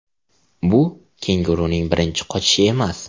Bu kenguruning birinchi qochishi emas.